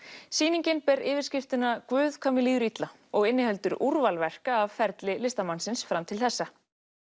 sýningin ber yfirskriftina Guð hvað mér líður illa og inniheldur úrval verka ferli listamannsins fram til þessa